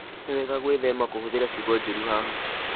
Nĩ wega gwĩthema kũhũthĩra ciugo njũru haha.